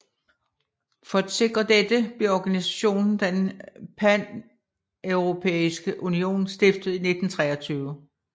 For at sikre dette blev organisationen Den Paneuropæiske Union stiftet i 1923